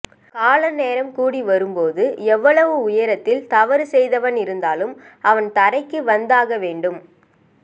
கால நேரம் கூடி வரும் போது எவ்வளவு உயரத்தில் தவறு செய்தவன் இருந்தாலும் அவன் தரைக்கு வந்து ஆக வேண்டும்